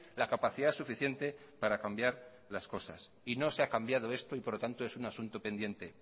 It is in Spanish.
la capacidad suficiente para cambiar las cosas y no se ha cambiado esto y por lo tanto es un asunto pendiente